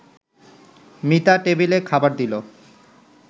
মিতা টেবিলে খাবার দিল